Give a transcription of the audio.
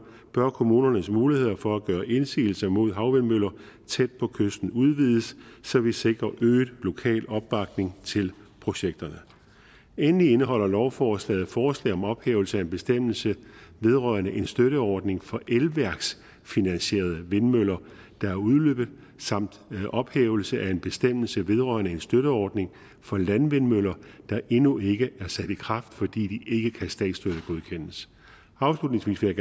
bør kommunernes muligheder for at gøre indsigelse mod havvindmøller tæt på kysten udvides så vi sikrer øget lokal opbakning til projekterne endelig indeholder lovforslaget forslag om ophævelse af en bestemmelse vedrørende en støtteordning for elværksfinansierede vindmøller der er udløbet samt ophævelse af en bestemmelse vedrørende en støtteordning for landvindmøller der endnu ikke er sat i kraft fordi de ikke kan statsstøttegodkendes afslutningsvis vil